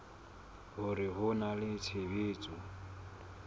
hore ho na le tshebetso